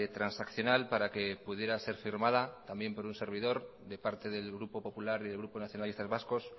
transaccional para que pudiera ser firmada también por un servidor de parte del grupo popular y del grupo nacionalistas vascos